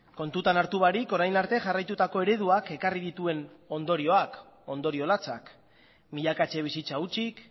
kontutan hartu barik orain arte jarraitutako ereduak ekarri dituen ondorioak ondorio latzak milaka etxe bizitza hutsik